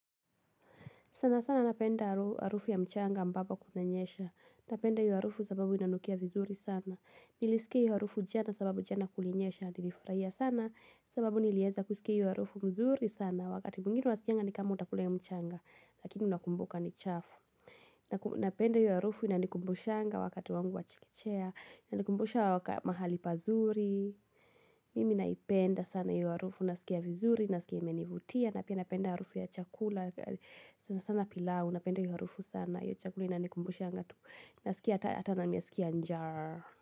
Sana sana napenda arufu ya mchanga ambapo kunanyesha. Napenda hiyo arufu sababu inanukia vizuri sana. Nilisikia iyo arufu jana sababu jana kulinyesha. Nilifurahia sana sababu nilieza kusikia iyo arufu mzuri sana. Wakati mwingine unasikanga ni kama utakula iyo mchanga. Lakini unakumbuka ni chafu. Napenda iyo arufu inanikumbushanga wakati wangu wa chekechea. Inanikumbusha wakamahali pazuri. Mimi naipenda sana iyo arufu. Nasikia vizuri. Nasikia imenivutia. Napenda iyo arufu ya chakula. Sana sana pilau napenda iyo harufu sana yu chakula ina nikumbusha ngatu na sikia ata na miasikia nja.